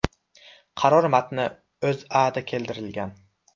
Qaror matni O‘zAda keltirilgan .